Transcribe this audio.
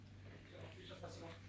Çox sağ olun, çox sağ olun.